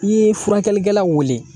I ye furakɛlikɛlaw wele